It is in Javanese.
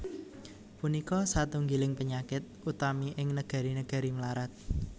Punika satunggiling panyakit utami ing negari negari mlarat